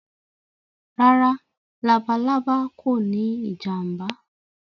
Rárá“ labalábá” kòní ìjàǹbá.